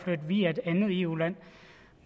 flytte via et andet eu land